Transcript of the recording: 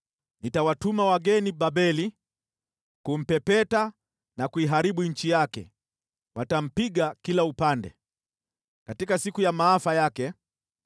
Nitawatuma wageni Babeli kumpepeta na kuiharibu nchi yake; watampinga kila upande katika siku ya maafa yake.